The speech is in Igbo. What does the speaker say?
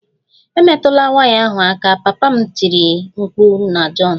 Emetụla waya ahụ aka! Papa m tiri mkpu na John